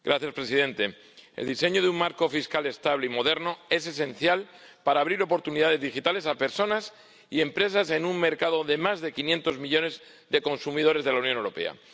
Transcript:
Señor presidente, el diseño de un marco fiscal estable y moderno es esencial para abrir oportunidades digitales a personas y empresas en un mercado de más de 500 millones de consumidores, el de la Unión Europea.